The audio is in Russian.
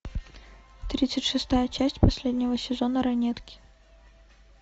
тридцать шестая часть последнего сезона ранетки